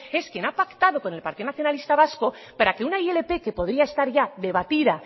es quien ha pactado con el partido nacionalista vasco para que una ilp que podría estar debatida